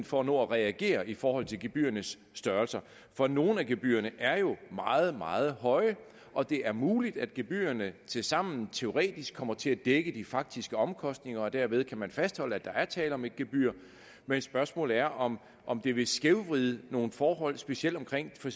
for at nå at reagere i forhold til gebyrernes størrelse for nogle af gebyrerne er jo meget meget høje og det er muligt at gebyrerne tilsammen teoretisk set kommer til at dække de faktiske omkostninger og at man derved kan fastholde at der er tale om et gebyr men spørgsmålet er om om det vil skævvride nogle forhold specielt omkring